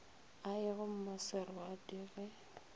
a ye go mmaserwadi ge